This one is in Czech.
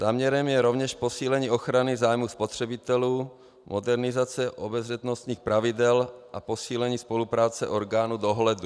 Záměrem je rovněž posílení ochrany zájmů spotřebitelů, modernizace obezřetnostních pravidel a posílení spolupráce orgánů dohledu.